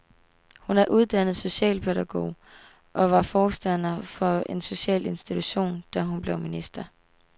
Hun er uddannet socialpædagog og var forstander for en social institution, da hun blev minister.